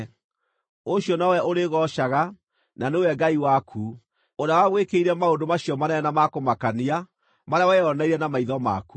Ũcio nowe ũrĩgoocaga; na nĩwe Ngai waku, ũrĩa wagwĩkĩire maũndũ macio manene na ma kũmakania marĩa weyoneire na maitho maku.